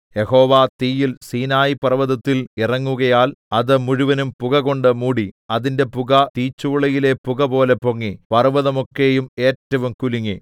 യഹോവ തീയിൽ സീനായി പർവ്വതത്തിൽ ഇറങ്ങുകയാൽ അത് മുഴുവനും പുകകൊണ്ട് മൂടി അതിന്റെ പുക തീച്ചൂളയിലെ പുകപോലെ പൊങ്ങി പർവ്വതം ഒക്കെയും ഏറ്റവും കുലുങ്ങി